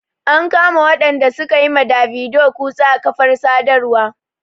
An kama waɗanda su ka yi ma Davido kutse a kafar sadarwa.